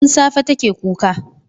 Tun safe take kuka.